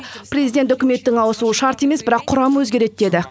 президент үкіметтің ауысуы шарт емес бірақ құрамы өзгереді деді